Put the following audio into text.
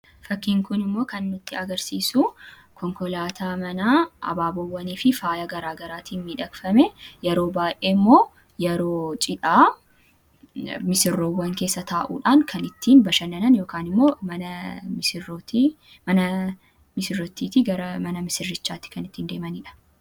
Fakkiin kunimmoo kan nutti agarsiisu konkolaataa manaa abaabboowwanii fi faaya garaagaraatiin miidhagfamee yeroo baay'ee immoo yeroo cidhaa misirroowwan keessa taa'uudhaan kan ittiin bashannanan yookiin mana misirrittiitii gara mana misirrootti kan ittiin deemanidha.